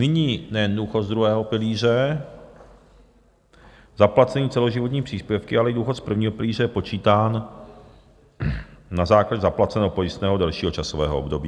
Nyní nejen důchod z druhého pilíře zaplacený celoživotními příspěvky, ale i důchod z prvního pilíře je počítán na základě zaplaceného pojistného delšího časového období.